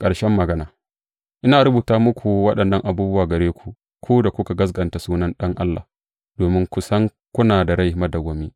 Ƙarshen magana Ina rubuta waɗannan abubuwa gare ku, ku da kuka gaskata sunan Ɗan Allah domin ku san kuna da rai madawwami.